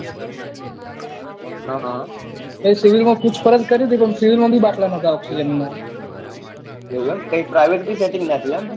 હમ પછી civil માં પૂછપરચ કરી હતી પણ civil માં ભી બાટલા નતા ઓક્ષ્સિજન ના એવું એમ કઈ private ભી setting ના થયું એમ